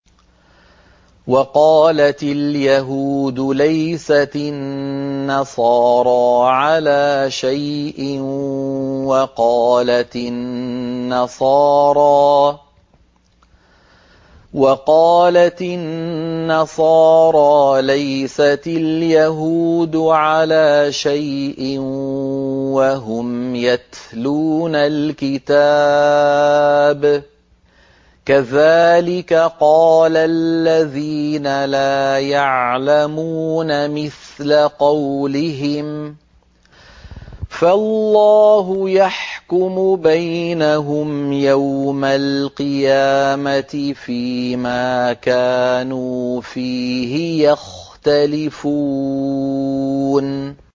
وَقَالَتِ الْيَهُودُ لَيْسَتِ النَّصَارَىٰ عَلَىٰ شَيْءٍ وَقَالَتِ النَّصَارَىٰ لَيْسَتِ الْيَهُودُ عَلَىٰ شَيْءٍ وَهُمْ يَتْلُونَ الْكِتَابَ ۗ كَذَٰلِكَ قَالَ الَّذِينَ لَا يَعْلَمُونَ مِثْلَ قَوْلِهِمْ ۚ فَاللَّهُ يَحْكُمُ بَيْنَهُمْ يَوْمَ الْقِيَامَةِ فِيمَا كَانُوا فِيهِ يَخْتَلِفُونَ